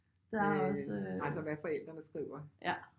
Det altså hvad forældrene skriver